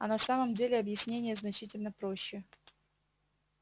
а на самом деле объяснение значительно проще